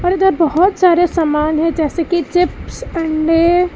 और इधर बहुत सारे सामान हैं जैसे कि चिप्स अंडे।